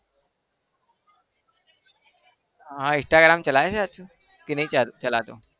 હા instragram ચલાવે છે કે નહિ ચલાવતો?